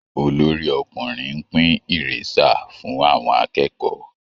Olorí-ọkùnrin ń pín ìrésà fún àwọn akẹ́kọ̀ọ́